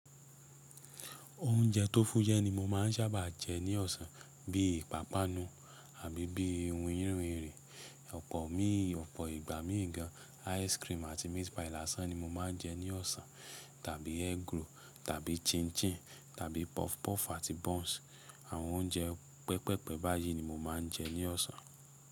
Oúnjẹ tó fúyẹ ni mo máa ń sábà jẹ ní ọ̀sán. Bíi ìpápánu àbí bíi winyin winrin, ọ̀pọ̀ míì, ọ̀pọ̀ ìgbá míì gan, ice cream àti meat pie lásán ni mo máa ń jẹ ní ọ̀sán. Tàbí egg roll tàbí chin chin tàbí puff puff àti buns. Àwọn oúnjẹ pẹpẹpe báyìí ni mo máa ń jẹ ní ọ̀sán.